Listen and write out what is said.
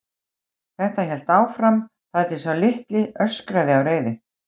Þetta hélt áfram þar til sá litli öskraði af reiði.